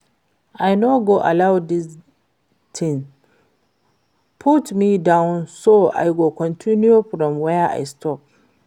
I no go allow dis thing put me down so I go continue from where I stop